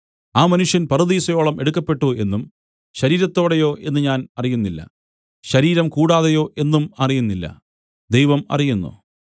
ആ മനുഷ്യൻ പറുദീസയോളം എടുക്കപ്പെട്ടു എന്നും ശരീരത്തോടെയോ എന്ന് ഞാൻ അറിയുന്നില്ല ശരീരം കൂടാതെയോ എന്നും അറിയുന്നില്ല ദൈവം അറിയുന്നു